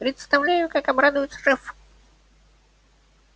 представляю как обрадуется шеф